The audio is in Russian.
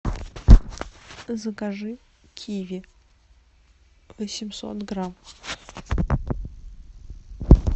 закажи киви восемьсот грамм